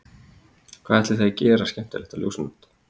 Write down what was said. Og ætlið þið að gera eitthvað skemmtilegt á Ljósanótt?